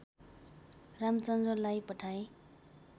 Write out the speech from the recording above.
रामचन्दलाई पठाए